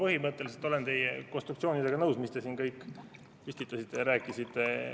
Ma põhimõtteliselt olen teie konstruktsioonidega nõus, mida te siin püstitasite ja millest rääkisite.